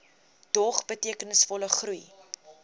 dog betekenisvolle groei